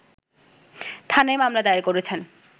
থানায় মামলা দায়ের করেছেন